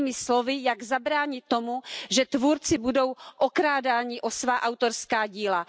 Jinými slovy, jak zabránit tomu, že tvůrci budou okrádáni o svá autorská díla.